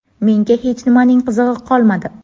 Menga hech nimaning qizig‘i qolmadi.